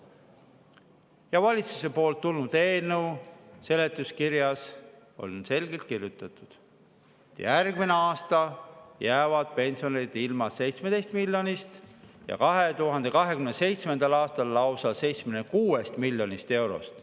Ja valitsuselt tulnud eelnõu seletuskirjas on selgelt kirjutatud, et järgmine aasta jäävad pensionärid ilma 17 miljonist eurost ja 2027. aastal lausa 76 miljonist eurost.